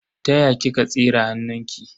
Ta ya kika tsire hannunki?